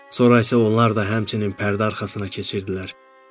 Sonra isə onlar da həmçinin pərdə arxasına keçirdilər.